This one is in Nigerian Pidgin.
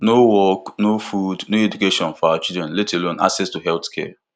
no work no food no education for our children let alone access to healthcare